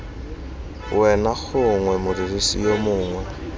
wena gongwe modirisi yo mongwe